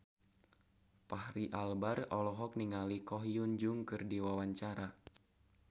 Fachri Albar olohok ningali Ko Hyun Jung keur diwawancara